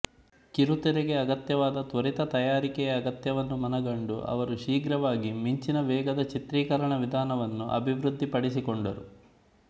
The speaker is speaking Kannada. ಕಿರುತೆರೆಗೆ ಅಗತ್ಯವಾದ ತ್ವರಿತ ತಯಾರಿಕೆಯ ಅಗತ್ಯವನ್ನು ಮನಗಂಡು ಅವರು ಶೀಘ್ರವಾಗಿ ಮಿಂಚಿನ ವೇಗದ ಚಿತ್ರೀಕರಣ ವಿಧಾನವನ್ನು ಅಭಿವೃದ್ಧಿಪಡಿಸಿಕೊಂಡರು